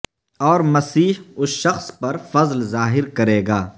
اور مسیح اس شخص پر فضل ظاہر کرے گا